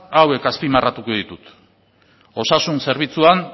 hauek azpimarratuko ditut osasun zerbitzuan